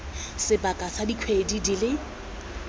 sebaka sa dikgwedi di le